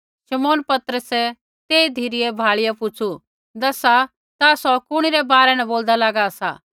शमौन पतरसै तेई धिरै भाल़िया पुछ़ु दसा ता सौ कुणी रै बारै न बोलदा लागा सा